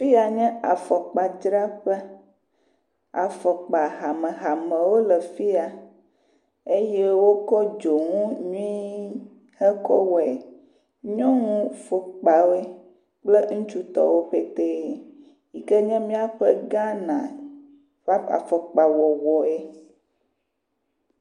Fia nye afɔkpadzraƒe. Afɔkpa hamehamewo le afia eye wokɔ dzonu nyui hekɔ wɔe. Nyɔnu fɔkpawo kple ŋutsutɔwo petɛ yi ke nye míaƒe Ghana ƒe afɔkpa wɔwɔe.